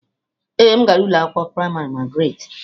Ee, m gara ụlọ akwụkwọ praịmarị Magaratị.